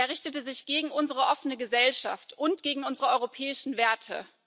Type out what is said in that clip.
Er richtete sich gegen unsere offene Gesellschaft und gegen unsere europäischen Werte.